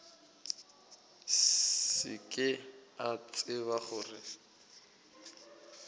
se ke a tseba gore